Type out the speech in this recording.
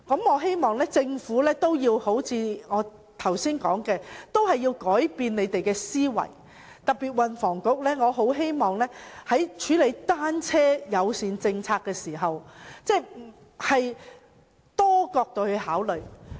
我希望政府會如我剛才所說般，改變思維，我特別希望運輸及房屋局在處理單車友善政策時，會從多個角度考慮。